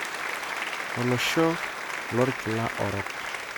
Olosho lokila orok?